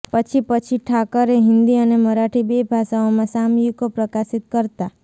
પછી પછી ઠાકરે હિન્દી અને મરાઠી બે ભાષાઓમાં સામયિકો પ્રકાશિત કરતા